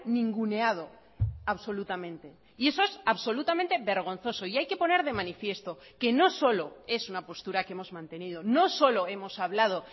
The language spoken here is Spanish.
ninguneado absolutamente y eso es absolutamente vergonzoso y hay que poner de manifiesto que no solo es una postura que hemos mantenido no solo hemos hablado